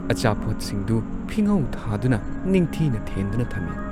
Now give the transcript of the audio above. ꯑꯆꯥꯄꯣꯠꯁꯤꯡꯗꯨ ꯐꯤꯉꯧ ꯊꯥꯗꯨꯅ ꯅꯤꯡꯊꯤꯅ ꯊꯦꯟꯗꯨꯅ ꯊꯝꯏ ꯫